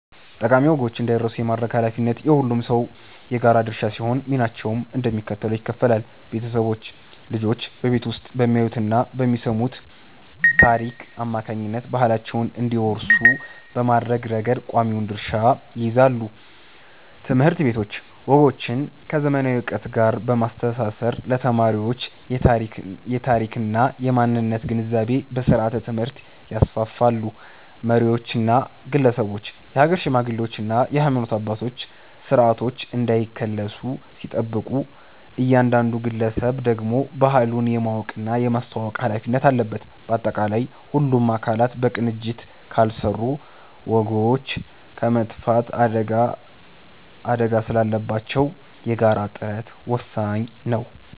ጠቃሚ ወጎች እንዳይረሱ የማድረግ ኃላፊነት የሁሉም ሰው የጋራ ድርሻ ሲሆን፣ ሚናቸውም እንደሚከተለው ይከፈላል፦ ቤተሰቦች፦ ልጆች በቤት ውስጥ በሚያዩትና በሚሰሙት ታሪክ አማካኝነት ባህላቸውን እንዲወርሱ በማድረግ ረገድ ቀዳሚውን ድርሻ ይይዛሉ። ትምህርት ቤቶች፦ ወጎችን ከዘመናዊ ዕውቀት ጋር በማስተሳሰር ለተማሪዎች የታሪክና የማንነት ግንዛቤን በስርዓተ-ትምህርት ያስፋፋሉ። መሪዎችና ግለሰቦች፦ የሀገር ሽማግሌዎችና የሃይማኖት አባቶች ስርዓቶች እንዳይከለሱ ሲጠብቁ፣ እያንዳንዱ ግለሰብ ደግሞ ባህሉን የማወቅና የማስተዋወቅ ኃላፊነት አለበት። ባጠቃላይ፣ ሁሉም አካላት በቅንጅት ካልሰሩ ወጎች የመጥፋት አደጋ ስላለባቸው የጋራ ጥረት ወሳኝ ነው።